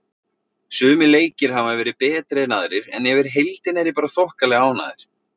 Sumir leikir hafa verið betri en aðrir en yfir heildina er ég bara þokkalega ánægð.